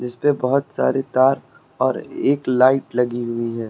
इस पे बहोत सारी तार और एक लाइट लगी हुई है।